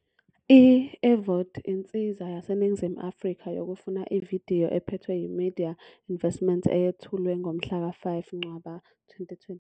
I-eVOD insiza yaseNingizimu Afrika yokufuna ividiyo ephethwe yi-eMedia Investments eyethulwe ngomhlaka 5 Ncwaba 2021.